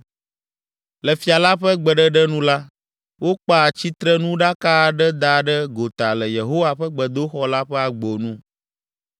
Le fia la ƒe gbeɖeɖe nu la, wokpa tsitrenuɖaka aɖe da ɖe gota le Yehowa ƒe gbedoxɔ la ƒe agbo nu.